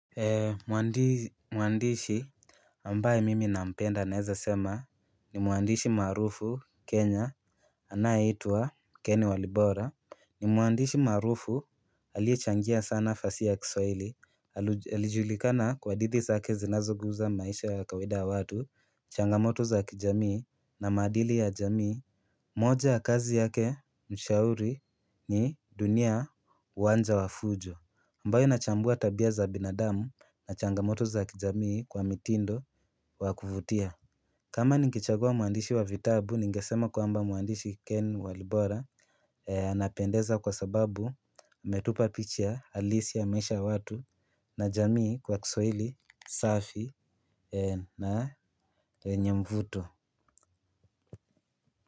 Mwandishi ambaye mimi nampenda naeza sema, ni mwandishi maarufu Kenya anayeitwa Ken Walibora. Ni Mwandishi maarufu aliyechangia sana fasihi ya kiswahili Alijulikana kwa hadithi zake zinazoguza maisha ya kawaida ya watu, changamoto za kijamii na maadili ya jamii. Moja ya kazi yake mshauri ni dunia uwanja wa fujo ambayo inachambua tabia za binadamu na changamoto za kijamii kwa mitindo wa kuvutia kama ningechagua mwandishi wa vitabu, ningesema kwamba mwandishi Ken Walibora Anapendeza kwa sababu ametupa picha halisi ya maisha ya watu na jamii kwa kiswahili safi na yenye mvuto.